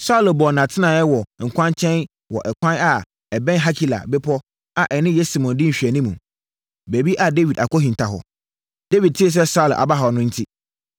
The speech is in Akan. Saulo bɔɔ nʼatenaeɛ wɔ kwankyɛn wɔ ɛkwan a ɛbɛn Hakila bepɔ a ɛne Yesimon di nhwɛanimu, baabi a Dawid akɔhinta hɔ. Dawid tee sɛ Saulo aba hɔ, enti